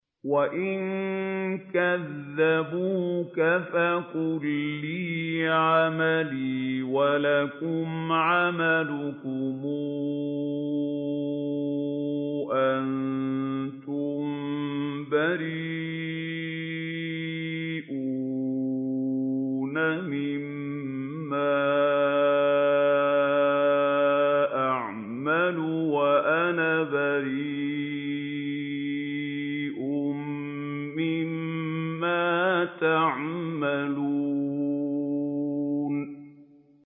وَإِن كَذَّبُوكَ فَقُل لِّي عَمَلِي وَلَكُمْ عَمَلُكُمْ ۖ أَنتُم بَرِيئُونَ مِمَّا أَعْمَلُ وَأَنَا بَرِيءٌ مِّمَّا تَعْمَلُونَ